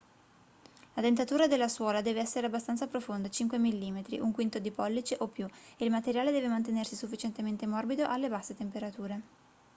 la dentatura della suola deve essere abbastanza profonda 5 mm 1/5 di pollice o più e il materiale deve mantenersi sufficientemente morbido alle basse temperature